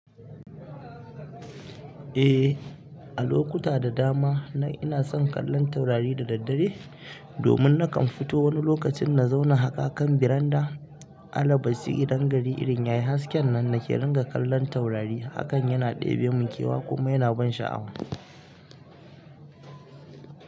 Eh, a lokuta da dama ina son kallon taurari da daddare domin nakan fito wani lokacin na zauna haka a kan veranda. Alabashi idan gari irin yayi haske nan nake ringa kallon taurari. Hakan yana debemin kewa kuma yana ban sha'awa.